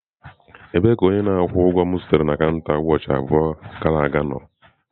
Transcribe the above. Ebee ka onye na-akwụ ụgwọ m zutere na kanta ụbọchị abụọ gara aga nọ?